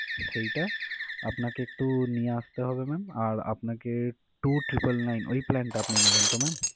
সেইটা আপনাকে একটু নিয়ে আসতে হবে ma'am আর আপনাকে two triple nine ওই plan টা আপনি নিবেন তো ma'am?